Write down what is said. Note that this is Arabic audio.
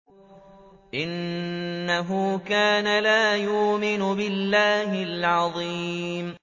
إِنَّهُ كَانَ لَا يُؤْمِنُ بِاللَّهِ الْعَظِيمِ